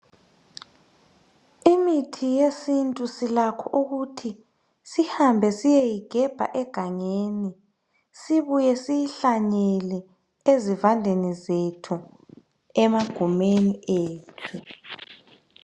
Imithi yesintu silakho ukuthi sihambe siyeyigebha egangeni sibuye siyihlanyele ezivandeni zethu, emagumeni ethu.